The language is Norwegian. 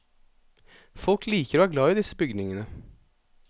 Folk liker og er glad i disse bygningene.